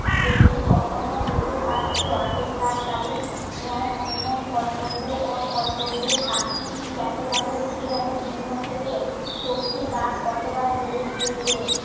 এ কি কখনো হতে পারতো আগেকার কালে? ন্যায় অন্যায় কর্তব্য ও কর্তব্যে পাখির স্থির একেবারে উঠে গেল দুনিয়া থেকে শক্তি বাপ কতবার জেলে গিয়েছে